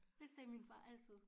Det sagde min far altid